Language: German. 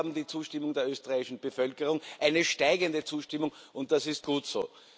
Wir haben die Zustimmung der österreichischen Bevölkerung eine steigende Zustimmung und das ist gut so.